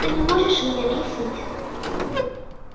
ты не можешь мне объяснить